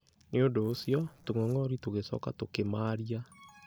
Nĩ ũndũ ũcio, tũng'ong'ori tũgĩcoka tũkĩmarĩa.